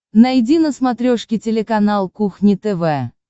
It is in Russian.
найди на смотрешке телеканал кухня тв